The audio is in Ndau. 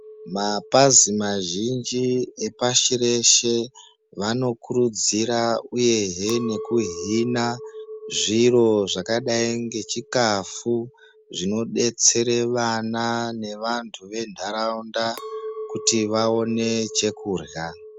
Mapazi mazhinji epasi reshe anokuridzira uye hee nekuhina zviro zvakadi ngechikafu zvinodetsera vana nevantu nendaraunda kuti vaone chekurya.